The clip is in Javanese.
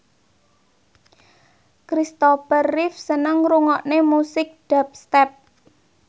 Christopher Reeve seneng ngrungokne musik dubstep